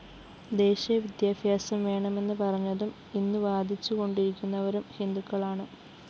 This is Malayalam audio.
ദേശീയ വിദ്യാഭ്യാസം വേണമെന്നുപറഞ്ഞതും ഇന്ന്‌ വാദിച്ചുകൊണ്ടിരിക്കുന്നവരും ഹിന്ദുക്കളാണ്‌